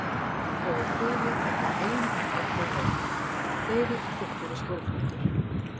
Og við kvefi var bara til ein haldgóð vörn: Fleiri og þykkari skjólflíkur.